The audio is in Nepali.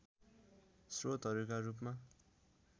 स्रोतहरूका रूपमा